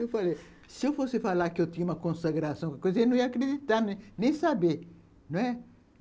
Eu falei, se eu fosse falar que eu tinha uma consagração, ele não ia acreditar, nem saber, não é?